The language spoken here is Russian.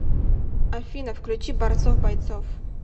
афина включи борцов бойцов